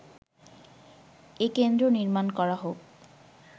এ কেন্দ্র নির্মাণ করা হোক